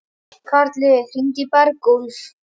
Karli, hringdu í Bergúlf.